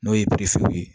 N'o ye ye